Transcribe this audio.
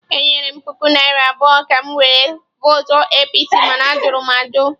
Enyere m puku naira abụọ ka m were votụ APC, mana a jụrụ ajụ.